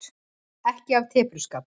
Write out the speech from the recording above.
Ekki af tepruskap.